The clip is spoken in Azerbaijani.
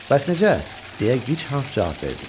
Bəs necə? – deyə Gichans cavab verdi.